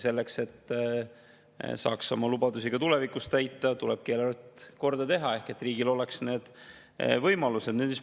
Selleks, et saaks oma lubadusi ka tulevikus täita, tulebki eelarve korda teha, et riigil oleks need võimalused.